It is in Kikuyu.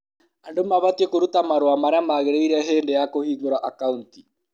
Andũ mabatie kũruta marũa marĩa magĩrĩire hĩndĩ ya kũhingũra akaũnti.